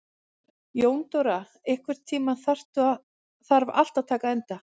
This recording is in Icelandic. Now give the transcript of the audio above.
Jóndóra, einhvern tímann þarf allt að taka enda.